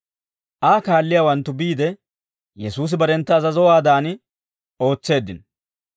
Aa kaalliyaawanttu biide, Yesuusi barentta azazowaadan ootseeddino.